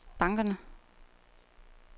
bankerne